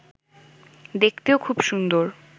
দেখতেও খুব সুন্দর